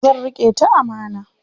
Zan riƙe ta amana.